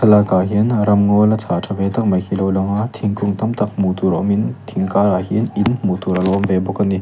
thlalakah hian ram ngaw la chhang tha ve tak mai hi lo lang a thingkung tam tam hmuh tur awmin thing karah hian in hmuh tur a lo awm ve bawk a ni.